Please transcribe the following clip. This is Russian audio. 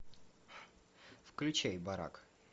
включай барак